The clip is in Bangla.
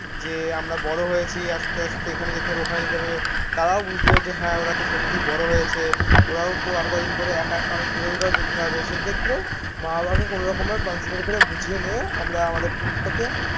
যে আমরা বড় হয়েছি, আস্তে আস্তে এখানে যেতে হবে, ওখানে যেতে হবে. তারাও বুঝলো যে হ্যাঁ ওরা তো সত্যিই বড় হয়েছে. ওরাও তো আর কদিন পরে একা একা অনেক দূরে দূরেও যেতে হবে. সেক্ষেত্রে মা বাবাকে কোন রকম ভাবে কন্সিডার করে বুঝিয়ে নিয়ে আমরা আমাদের টুর টাকে